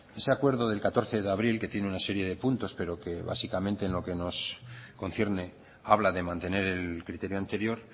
ese acuerdo del catorce de abril que tiene una serie de puntos pero que básicamente en lo que nos concierne habla de mantener el criterio anterior